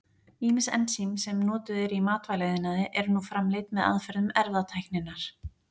Ýmis ensím sem notuð eru í matvælaiðnaði eru nú framleidd með aðferðum erfðatækninnar.